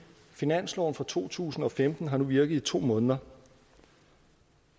finansloven for to tusind og femten har nu virket i to måneder og